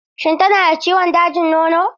Shin tana da ciwon dajin nono?